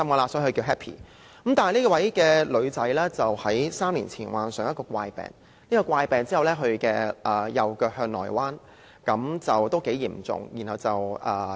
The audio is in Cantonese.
可惜，這名女孩子於3年前患上一個怪病，使她的右腳向內彎，情況相當嚴重。